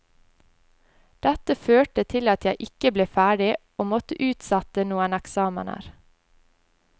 Dette førte til at jeg ikke ble ferdig og måtte utsette noen eksamener.